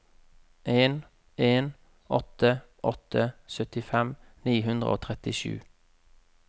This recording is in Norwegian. en en åtte åtte syttifem ni hundre og trettisju